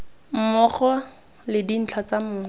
mmogo le dintlha tsa mong